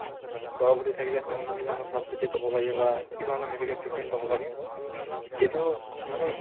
গৰ্ভৱতী থাকিলে তেওঁ যি ধৰণে চাফ চিতি পাব লাগে বা কি ধৰণে medical treatment পাব লাগে সেইটো মানে